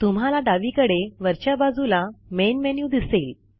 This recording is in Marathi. तुम्हाला डावीकडे वरच्या बाजूला मेन मेन्यू दिसेल